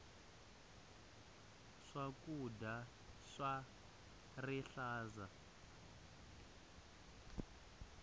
swakudya swa rihlaza